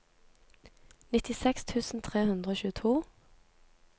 nittiseks tusen tre hundre og tjueto